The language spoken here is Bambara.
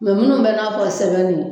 minnu bɛ n'a fɔ sɛbɛnni